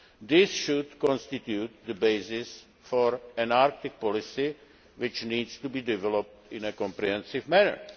This should constitute the basis for an Arctic policy, which needs to be developed in a comprehensive manner.